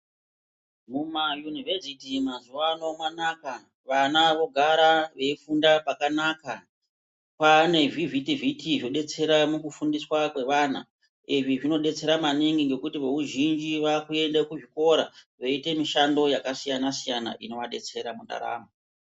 Muzvikora zvepaderadera mazuwa ano mwanaka vana vogara veifunda pakanaka kwaane zvivhiti vhiti zvodetsera mukufundiswa kwevana izvi zvinodetsera manaingi nekuti vazhinji vakuende kuchikora veiite mishando yakasiyanasiyana inoadetsera mundaramo.